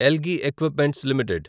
Elgi Equipments limited